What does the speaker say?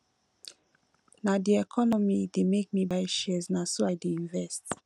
na di economy dey make me buy shares na so i dey invest